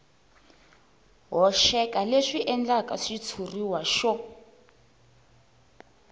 hoxeka leswi endlaka xitshuriwa xo